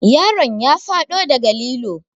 Yaron ya faɗo daga lilo.